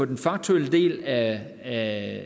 den faktuelle del af